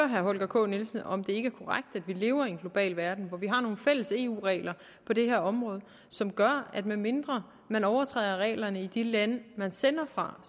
herre holger k nielsen om det ikke er korrekt at vi lever i en global verden hvor vi har nogle fælles eu regler på det her område som gør at medmindre man overtræder reglerne i de lande man sender fra